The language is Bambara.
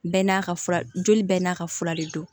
Bɛɛ n'a ka fura joli bɛɛ n'a ka fura de don